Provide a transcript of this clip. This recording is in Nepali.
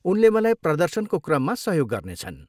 उनले मलाई प्रदर्शनको क्रममा सहयोग गर्नेछन्।